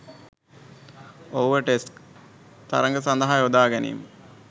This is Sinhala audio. ඔහුව ටෙස්ට් තරඟ සදහා යොදාගැනිම